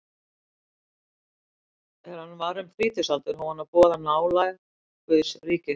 Er hann var um þrítugsaldur hóf hann að boða nálægð Guðs ríkis.